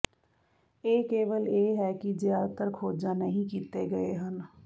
ਇਹ ਕੇਵਲ ਇਹ ਹੈ ਕਿ ਜ਼ਿਆਦਾਤਰ ਖੋਜਾਂ ਨਹੀਂ ਕੀਤੇ ਗਏ ਹਨ